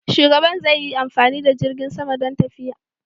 Shugaban zai yi amfani da jirgin sama don tafiya.